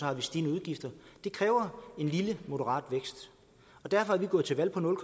er stigende udgifter det kræver en lille moderat vækst derfor er vi gået til valg på nul